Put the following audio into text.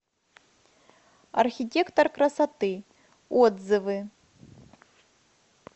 архитектор красоты отзывы